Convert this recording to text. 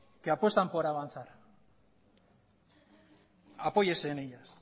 que apuestan por avanzar apóyese en ellas